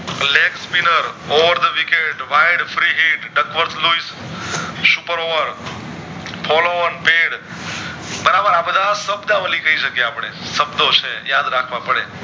Leg skipper over the wicket super work follow on pad બરાબર આ બધા શબ્દાવલી કે શકીયે આપડે શબ્દો છે યાદ રાખવા પડે